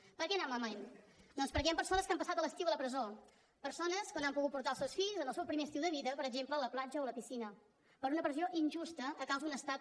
per què ha anat malament doncs perquè hi han persones que han passat l’estiu a la presó persones que no han pogut portar els seus fills en el seu primer estiu de vida per exemple a la platja o a la piscina per una presó injusta a causa d’un estat